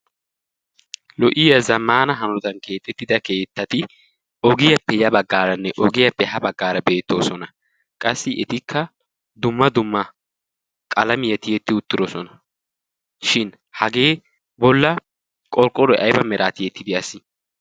lo''iyaa zamaana hanodan keexettida keettati ogiyaappe ya baggaaranne ogiyaappe ha baggaara beettoosona qassi etikka dumma dumma qalami eti etti uttidosona shin hagee bolla qorqqoloy aiba miraati ettidi assi?